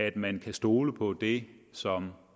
at man kan stole på det som